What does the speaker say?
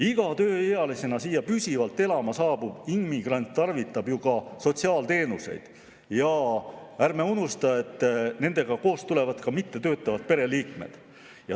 Iga tööealisena siia püsivalt elama saabunud immigrant tarvitab ju sotsiaalteenuseid ja ärme unustame, et temaga koos tulevad ka mittetöötavad pereliikmed.